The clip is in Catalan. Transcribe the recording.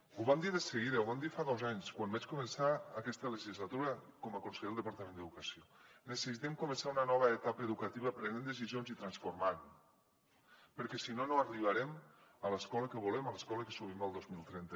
ho vam dir de seguida ho vam dir fa dos anys quan vaig començar aquesta legislatura com a conseller del departament d’educació necessitem començar una nova etapa educativa prenent decisions i transformant perquè si no no arribarem a l’escola que volem a l’escola que somiem el dos mil trenta